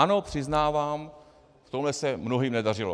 Ano, přiznávám, v tomhle se mnohým nedařilo.